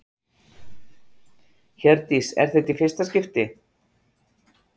Hjördís: Er þetta í fyrsta skipti?